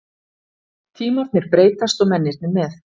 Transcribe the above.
Tímarnir breytast og mennirnir með.